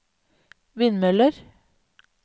vindmøller